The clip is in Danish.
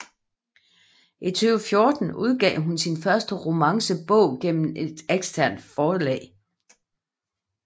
I 2014 udgav hun sin første romance bog gennem eksternt forlag